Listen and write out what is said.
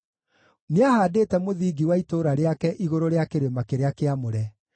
Nĩahaandĩte mũthingi wa itũũra rĩake igũrũ rĩa kĩrĩma kĩrĩa kĩamũre;